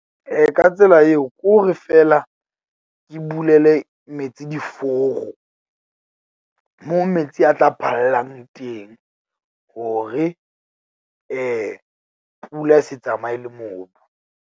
Ka tsela eo ke hore feela ke bulele metsi diforo , moo metsi a tla phallang teng hore pula e se tsamaye le mobu.